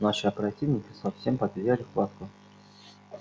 наши оперативники совсем потеряли хватку